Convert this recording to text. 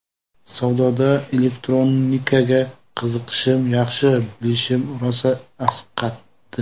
Savdoda elektronikaga qiziqishim, yaxshi bilishim rosa asqatdi.